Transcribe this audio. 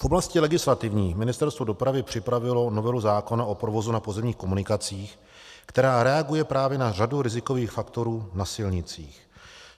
V oblasti legislativní Ministerstvo dopravy připravilo novelu zákona o provozu na pozemních komunikacích, která reaguje právě na řadu rizikových faktorů na silnicích.